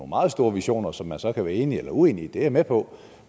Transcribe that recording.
meget store visioner som man så kan være enig eller uenig i det er jeg med på